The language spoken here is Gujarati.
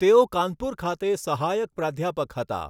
તેઓ કાનપુર ખાતે સહાયક પ્રાધ્યાપક હતા.